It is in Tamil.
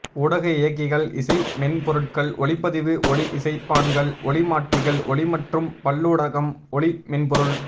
ஊடக இயக்கிகள் இசை மென்பொருட்கள் ஒலிப்பதிவு ஒலி இசைப்பான்கள் ஒலி மாற்றிகள் ஒலி மற்றும் பல்லூடகம் ஒலி மென்பொருள்